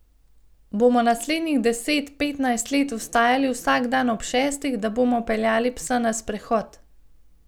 Bomo naslednjih deset, petnajst let vstajali vsak dan ob šestih, da bomo peljali psa na sprehod?